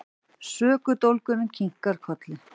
Sökudólgurinn kinkar kolli.